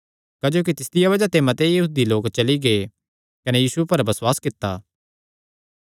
क्जोकि तिसदिया बज़ाह ते मते यहूदी लोक चली गै कने यीशु पर बसुआस कित्ता